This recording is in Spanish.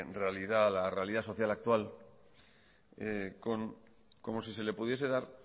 realidad a la realidad social actual como si se le pudiese dar